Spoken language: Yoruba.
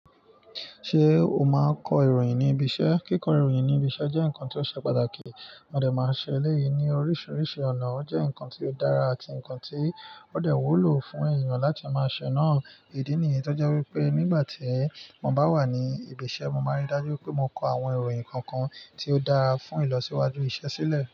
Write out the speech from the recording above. Ṣé o máa kọ ìròyìn ní ibi iṣẹ́? Kíkọ ìròyìn ní ibi iṣẹ́ jẹ́ ǹkan tó ṣe pàtàkì, wọ́n dẹ̀ máa ń ṣe èléyìí ní oríṣiríṣi ọ̀nà. Ò jẹ́ ǹkan tó dára àti ǹkan tó dẹ̀ wúlò fún èèyàn láti máa ṣe náà. Ìdí nìyí tó jẹ́ wípé nígbà tí mo bá wà ní ibi iṣẹ́, mo máa ń rí dájú pé mo kọ àwọn ìròyìn kọ̀ọ̀kan tí ó dára fún ìlọsíwájú iṣẹ́ sílẹ̀.